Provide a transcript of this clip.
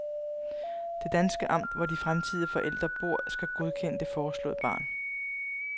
Det danske amt, hvor de fremtidige forældre bor, skal godkende det foreslåede barn.